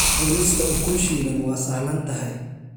Cunista ukun shiilan waa sahlan tahay.